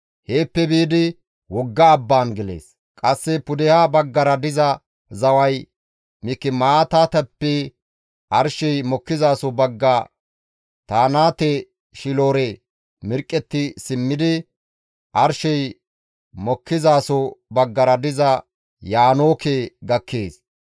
Heeppe biidi wogga abbaan gelees. Qasse pudeha baggara diza zaway Mikimaataateppe arshey mokkizaso bagga Taanate-Shiilora mirqqetti simmidi, arshey mokkizaso baggara diza Yaanooke gakkees.